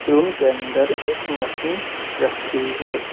Room के अंदर एक मशीन रखी हुई है।